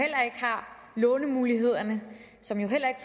lånemuligheder og som heller ikke